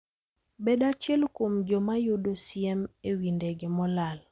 Bed achiel kuom joma yudo siem e wi ndege molal.